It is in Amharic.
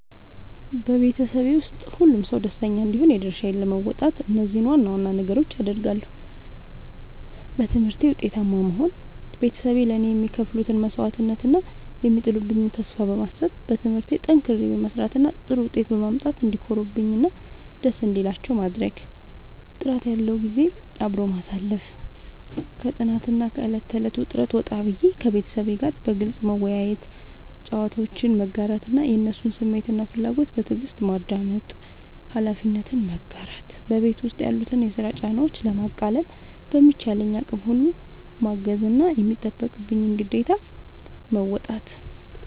በቤተሰቤ ውስጥ ሁሉም ሰው ደስተኛ እንዲሆን የድርሻዬን ለመወጣት እነዚህን ዋና ዋና ነገሮች አደርጋለሁ፦ በትምህርቴ ውጤታማ መሆን፦ ቤተሰቤ ለእኔ የሚከፍሉትን መስዋዕትነት እና የሚጥሉብኝን ተስፋ በማሰብ፣ በትምህርቴ ጠንክሬ በመስራት እና ጥሩ ውጤት በማምጣት እንዲኮሩብኝ እና ደስ እንዲላቸው ማድረግ። ጥራት ያለው ጊዜ አብሮ ማሳለፍ፦ ከጥናትና ከዕለት ተዕለት ውጥረት ወጣ ብዬ፣ ከቤተሰቤ ጋር በግልጽ መወያየት፣ ጨዋታዎችን መጋራት እና የእነሱን ስሜትና ፍላጎት በትዕግስት ማዳመጥ። ኃላፊነትን መጋራት፦ በቤት ውስጥ ያሉትን የስራ ጫናዎች ለማቃለል በሚቻለኝ አቅም ሁሉ ማገዝና የሚጠበቅብኝን ግዴታ መወጣት።